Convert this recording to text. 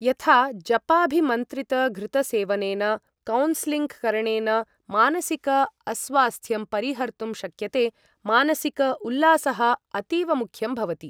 यथा जपाभिमन्त्रितघृतसेवनेन कौन्सलिङ्ग् करणेन मानसिक अस्वास्थ्यं परिहर्तुं शक्यते मानसिक उल्लासः अतीवमुख्यं भवति ।